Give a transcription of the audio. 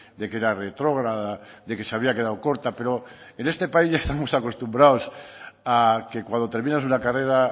de que era retrógrada de que se había quedado corta pero en este país ya estamos acostumbrados a que cuando terminas una carrera